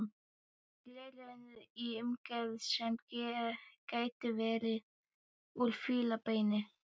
Gleraugu í umgerð sem gæti verið úr fílabeini.